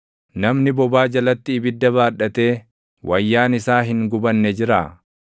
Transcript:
Namni bobaa jalatti ibidda baadhatee wayyaan isaa hin gubanne jiraa?